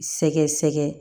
Sɛgɛsɛgɛ